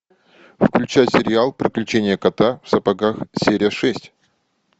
включай сериал приключения кота в сапогах серия шесть